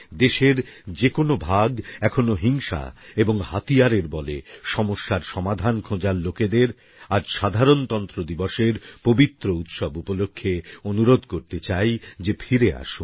দেশের যে কোনো ভাগে এখনও হিংসা এবং হাতিয়ারের বলে সমস্যার সমাধান খোঁজার লোকেদের আজ সাধারণতন্ত্র দিবসের পবিত্র উৎসব উপলক্ষে অনুরোধ করতে চাই যে ফিরে আসুন